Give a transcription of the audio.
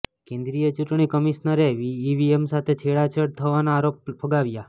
કેન્દ્રીય ચૂંટણી કમિશનરે ઈવીએમ સાથે છેડછાડ થવાના આરોપ ફગાવ્યા